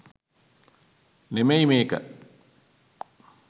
නෙමෙයි මේක.